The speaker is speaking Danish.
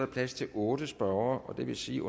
plads til otte spørgere og det vil sige